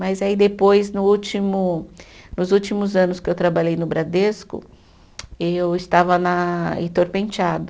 Mas aí, depois, no último, nos últimos anos que eu trabalhei no Bradesco, eu estava Heitor Penteado.